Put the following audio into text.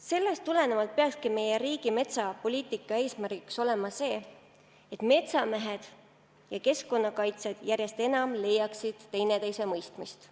Sellest tulenevalt peaks meie riigi metsapoliitika eesmärk olema see, et metsamehed ja keskkonnakaitsjad järjest enam üksteist mõistaksid.